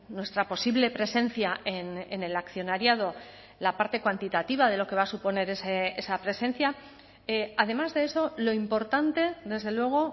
nuestra posible presencia en el accionariado la parte cuantitativa de lo que va a suponer esa presencia además de eso lo importante desde luego